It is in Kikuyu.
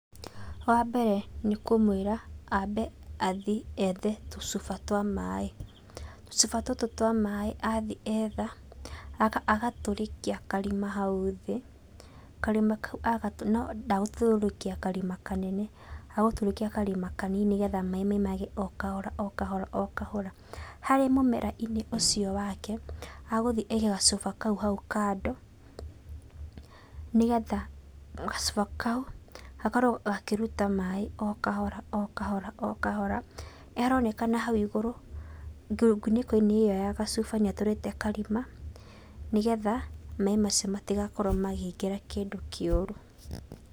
Wambere nĩ kũmwĩra ambe athi ethe tũcuba twa maĩ. Tũcuba tũtũ twa maĩ athi etha, agacoka agatũrĩkia karima hau thĩ, karima kau agatũrĩkia, no ndagũtũrĩkia karima kanene, agũtũrĩkia karima kanini nĩgetha maĩ maimage okahora okahora okahora. Harĩ mũmera-inĩ ũcio wake, agũthi aige gacuba kau hau kando, nĩgetha gacuba kau gakorwo gakĩruta maĩ okahora okahora okahora. ĩyo ĩronekana hau igũrũ nguniko-inĩ ĩyo ya gacuba nĩ atũrĩte karima nĩgetha maĩ macio matigakorwo makĩingĩra kĩndũ kĩũru.